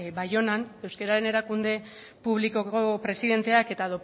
baionan euskararen erakunde publikoko presidenteak eta